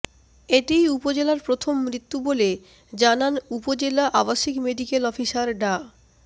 এটিই উপজেলার প্রথম মৃত্যু বলে জানান উপজেলা আবাসিক মেডিকেল অফিসার ডা